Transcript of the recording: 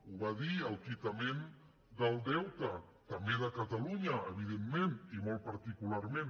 ho va dir el quitament del deute també de catalunya evidentment i molt particularment